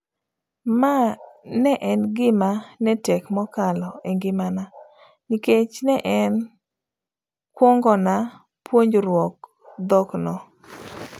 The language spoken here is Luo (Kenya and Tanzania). Mae ne en gima netek mokalo engimana, nikech ne en kwongona puonjruok dhok no.